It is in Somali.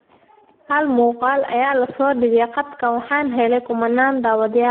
Hal muqaal ayaa la soo dhigay qadka waxaana helay kumanaan daawadayaal ah.